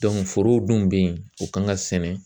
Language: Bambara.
foro dun be yen o kan ka sɛnɛ